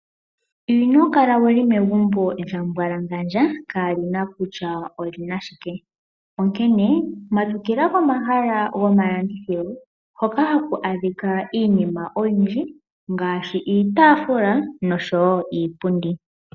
Ino kala wuli megumbo lya mbwalangandja kalina kutya olina shike onkene matukila komahala gomalandithilo hoka haku adhika iinima oyindji ngaashi iitafula niipundi.